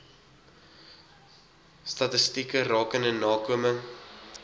statistieke rakende nakoming